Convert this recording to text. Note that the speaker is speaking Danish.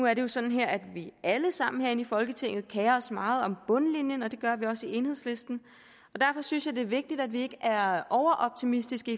er jo sådan at vi alle sammen herinde i folketinget kerer os meget om bundlinjen og det gør vi også i enhedslisten derfor synes jeg det er vigtigt at vi ikke er overoptimistiske